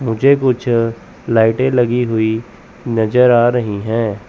मुझे कुछ लाइटें लाइट लगी हुई नजर आ रही हैं।